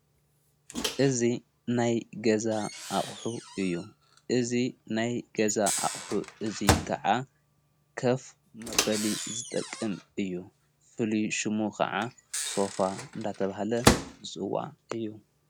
እዙ ናይ ገዛ ኣቕሑ እዩ እዝ ናይ ገዛ ኣቕሑ እዙይ ከዓ ከፍ መበሊ ዝጠቅም እዩ ፍልሹሙ ኸዓ ሶፋ እንዳተብሃለ ይጽዋ እዩ።